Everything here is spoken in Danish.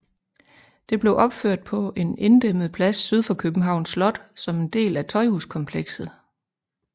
Det blev opført på en inddæmmet plads syd for Københavns Slot som en del af Tøjhuskomplekset